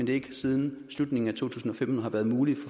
det ikke siden slutningen af to tusind og femten har været muligt